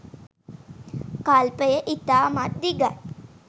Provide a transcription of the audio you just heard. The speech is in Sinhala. කල්පය ඉතාමත් දිගයි.